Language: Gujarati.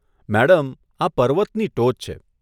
મેડમ, આ પર્વતની ટોચ છે.